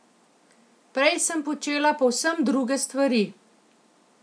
Prej sem počela povsem druge stvari.